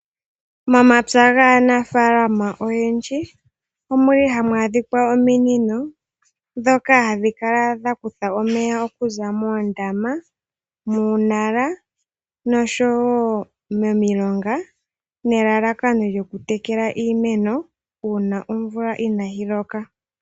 Momapya gaanafaalama oyendji omuli hamu adhika ominino dhoka hadhi kala dha kutha omeya okuza moondama, muunala noshowo momilonga nelalakano lyoku tekela iimeno uuna omvula inayi loka.